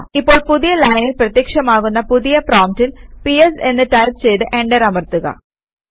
ഇപ്പോൾ പുതിയ ലൈനിൽ പ്രത്യക്ഷമാകുന്ന പുതിയ പ്രോംപ്റ്റിൽ പിഎസ് എന്ന് ടൈപ് ചെയ്ത് എന്റർ അമർത്തുക